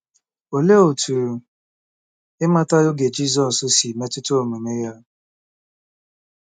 Olee otú ịmata oge Jizọs si metụta omume ya?